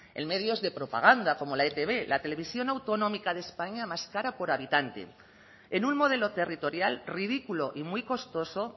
en medios de propaganda como la etb la televisión autonómica de españa más cara por habitante en un modelo territorial ridículo y muy costoso